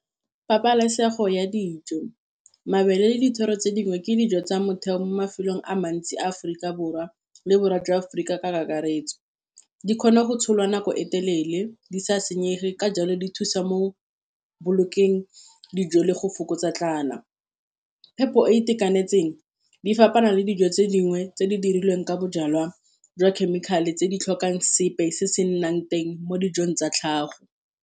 Pabalesego ya dijo, mabele le dithoro tse dingwe, ke dijo tsa motheo mo mafelong a mantsi a Aforika Borwa le Borwa jwa Aforika ka kakaretso. Di kgona go tsholwa nako e telele di sa senyege, ka jalo di thusa mo go bolokeng dijo le go fokotsa tlala. Phepo e e itekanetseng di fapana le dijo tse dingwe tse di dirilweng ka bojalwa jwa chemical-e, tse di tlhokang sepe se se nnang teng mo dijong tsa tlhago.